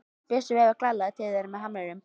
Bjössi veifar glaðlega til þeirra með hamrinum.